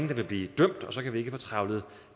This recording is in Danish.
der vil blive dømt og så kan vi ikke få trævlet